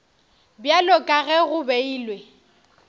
bjalo ka ge go beilwe